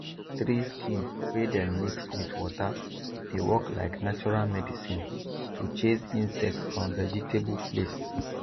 tree skin wey dem mix with water dey work like natural medicine to chase insect from vegetable place